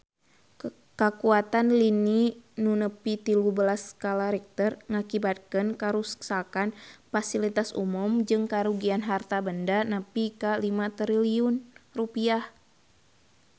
Kakuatan lini nu nepi tilu belas skala Richter ngakibatkeun karuksakan pasilitas umum jeung karugian harta banda nepi ka 5 triliun rupiah